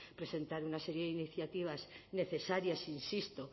presentar una serie de iniciativas necesarias insisto